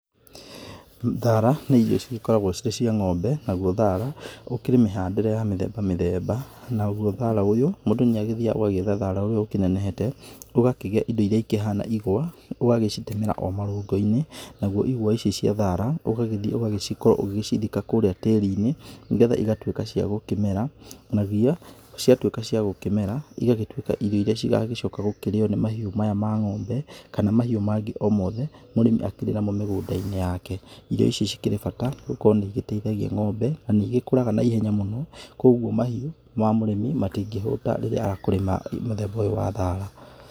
Thara nĩ irio cigĩkoragwo cirĩ cia ng'ombe, naguo thara ũkĩrĩ mĩhandĩre ya mĩthemba mĩthemba, naguo thara ũyũ mũndũ nĩagĩthiyaga ũgagĩetha thara ũrĩa ũkĩnenehete ũgakĩgĩa indo irĩa ihana ĩgwa, ũgagĩcitemera o marũngũ-inĩ, naguo ĩgwa ici cia thara ũgagĩthiĩ ũgacithika kũrĩa tĩri-inĩ, nĩgetha ĩgatuĩka cia gũkĩmera nagĩa ciatuĩka cia gũkĩmera igagĩtuĩka irio irĩa cigagĩcoka gũkĩrĩyo nĩ mahiũ maya ma ng'ombe, kana kahiũ mangĩ o mothe mũrĩmi akĩrĩ namo mĩgũnda-inĩ wake. Irio ici ci kĩrĩ bata gũkorwo nĩ igĩteithagia ng'ombe na nĩigĩkũraga naihenya mũno, koguo mahiũ ma mũrĩmi matingĩhũta rĩrĩa kũrĩ na mũthemba ũyũ wa thara.